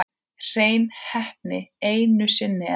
Hrein heppni einu sinni enn.